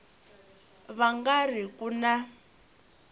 va nga ri ku na